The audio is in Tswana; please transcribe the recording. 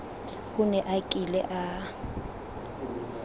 o ne a kile a